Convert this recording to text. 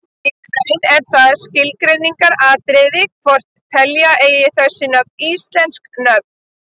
Í raun er það skilgreiningaratriði hvort telja eigi þessi nöfn íslensk nöfn.